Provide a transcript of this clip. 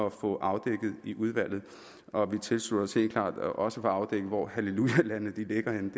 at få afdækket i udvalget og vi tilslutter os helt klart også at få afdækket hvor hallelujalandene ligger henne